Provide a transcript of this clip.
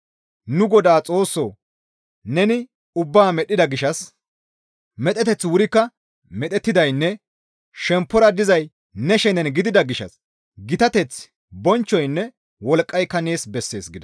«Nu Godaa Xoossoo! Neni ubbaa medhdhida gishshas medheteththi wurikka medhettidaynne shemppora dizay ne shenen gidida gishshas gitateththi, bonchchoynne wolqqayka nees bessees» gida.